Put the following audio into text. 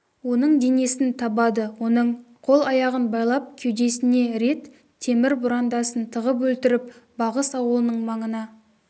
оның денесін табады оның қол-аяғын байлап кеудесіне рет темір бұрандасын тығып өлтіріп бағыс ауылының маңына